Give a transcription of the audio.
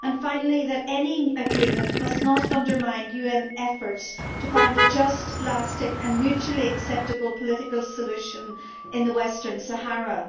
and, finally, that any agreement must not undermine UN efforts to find a just, lasting and mutually acceptable political solution in the Western Sahara.